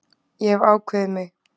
Ég hef ákveðið mig.